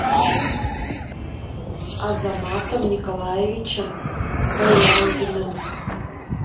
азаматом николаевичем баяндиным